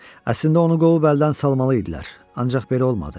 Əslində onu qovub əldən salmalıydılar, ancaq belə olmadı.